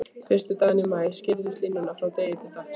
Fyrstu dagana í maí skýrðust línur frá degi til dags.